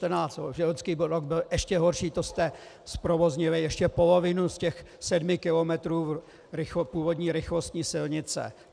Loňský rok byl ještě horší, to jste zprovoznili ještě polovinu z těch sedmi kilometrů původní rychlostní silnice.